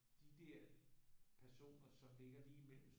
De der personer som ligger lige imellem